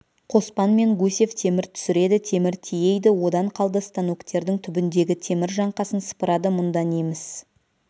қоспан мен гусев темір түсіреді темір тиейді одан қалды станоктердің түбіндегі темір жаңқасын сыпырады мұнда неміс